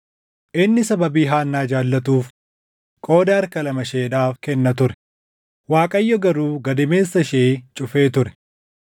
Inni sababii Haannaa jaallatuuf qooda harka lama isheedhaaf kenna ture; Waaqayyo garuu gadameessa ishee cufee ture.